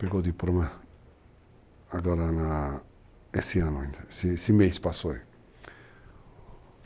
Pegou diploma agora na, nesse ano ainda, esse mês que passou aí.